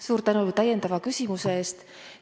Suur tänu täiendava küsimuse eest!